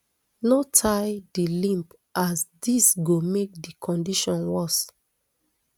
no tie di limb as dis go make di condition worse